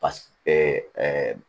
Pa